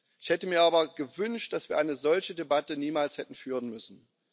Ich hätte mir aber gewünscht, dass wir eine solche Debatte niemals hätten führen müssen.